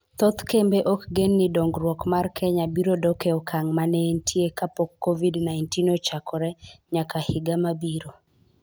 Thoth kembe ok gen ni dongruok mar Kenya biro dok e okang' ma ne entie kapok COVID-19 ochakore nyaka higa mabiro.